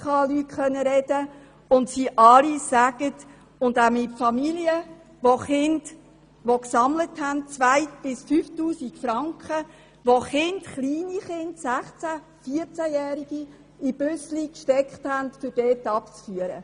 Ich konnte mit IKRK-Leuten sprechen und auch mit Familien, die 2000 bis 5000 Franken gesammelt und kleine, 14- bis 16-jährige Kinder in Busse gesteckt haben, um sie abzuführen;